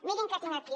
mirin què tinc aquí